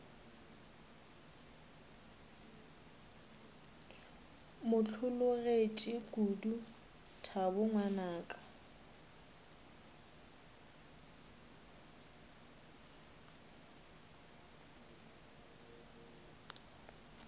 mo hlologetše kodu thabo ngwanaka